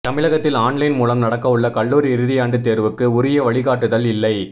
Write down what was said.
தமிழகத்தில் ஆன்லைன் மூலம் நடக்கவுள்ள கல்லூரி இறுதியாண்டு தேர்வுக்கு உரிய வழிகாட்டுதல் இல்லை